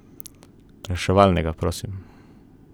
Reševalnega, prosim!